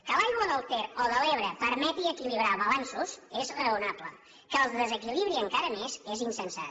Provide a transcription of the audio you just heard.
que l’aigua del ter o de l’ebre permeti equilibrar balanços és raonable que el desequilibri encara més és insensat